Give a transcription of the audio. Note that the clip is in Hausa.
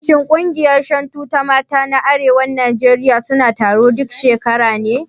Shin ƙungiyar Shantu ta mata na arewacin Najeriya suna taro duk shekara ne?